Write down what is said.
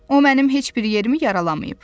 O mənim heç bir yerimi yaralamayıb.